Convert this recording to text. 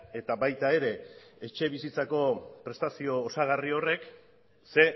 eta baita ere etxebizitzako prestazio osagarri horrek ze